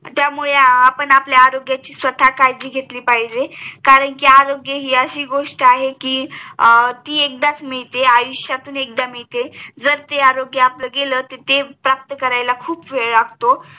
त्यामुळे अं आपण आपल्या आरोग्याची स्वतः काळजी घेतली पाहिजे कारण कि आरोग्य हि अशी गोष्ट आहे के ती एकदाच मिळते आयुष्यातून एकदा मिळते जर ते आरोग्य आपलं गेल तेर आपल्याला प्राप्त करायला खूप वेळ लागतो